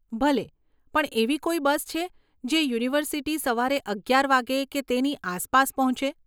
ભલે, પણ એવી કોઈ બસ છે જે યુનિવર્સીટી સવારે અગિયાર વાગ્યે કે તેની આસપાસ પહોંચે?